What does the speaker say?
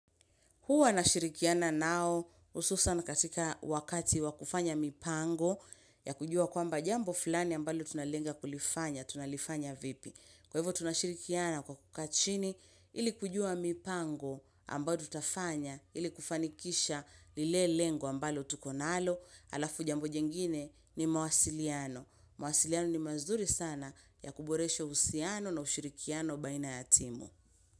Hua nashirikiana nao hususan katika wakati wakufanya mipango ya kujua kwamba jambo flani ambalo tunalenga kulifanya, tunalifanya vipi. Kwa hivyo tunashirikiana kwa kukaachini ili kujua mipango ambayo tutafanya ili kufanikisha lile lengo ambalo tuko nalo alafu jambo jingine ni mawasiliano. Mawasiliano ni mazuri sana ya kuboresho husiano na ushirikiano baina ya timu.